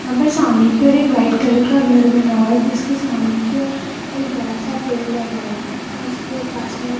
यहां पर सामने की ओर एक व्हाइट कलर का घर बना हुआ है जिसके सामने की ओर एक बड़ा सा पेड़ लगा हुआ है और उसके पास में एक --